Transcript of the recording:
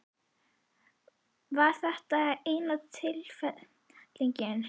Var þetta eina tilnefningin?